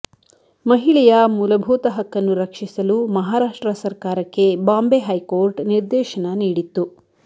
ಮಹಿಳೆಯ ಮೂಲಭೂತ ಹಕ್ಕನ್ನು ರಕ್ಷಿಸಲು ಮಹಾರಾಷ್ಟ್ರ ಸರ್ಕಾರಕ್ಕೆ ಬಾಂಬ್ ಹೈಕೋರ್ಟ್ ನಿರ್ದೇಶನ ನೀಡಿತ್ತು